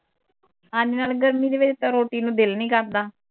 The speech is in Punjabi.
ਹਾਂਜੀ ਨਾਲੇ ਗਰਮੀ ਦੇ ਵਿਚ ਤਾਂ ਰੋਟੀ ਨੂੰ ਦਿਲ ਨੀ ਕਰਦਾ